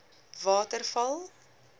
waterval